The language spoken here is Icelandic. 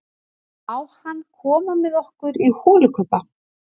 Má hann koma með okkur í holukubba?